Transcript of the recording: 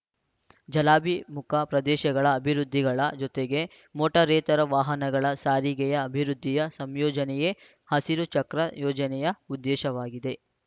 ಜಲಾಭಿಮುಖ ಪ್ರದೇಶಗಳ ಅಭಿವೃದ್ಧಿಗಳ ಜೊತೆಗೆ ಮೋಟಾರೇತರ ವಾಹನಗಳ ಸಾರಿಗೆಯ ಅಭಿವೃದ್ಧಿಯ ಸಂಯೋಜನೆಯೇ ಹಸಿರು ಚಕ್ರ ಯೋಜನೆಯ ಉದ್ದೇಶವಾಗಿದೆ